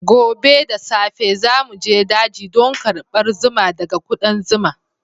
Gobe da safe za mu je daji don karbar zuma daga ƙudan zuma.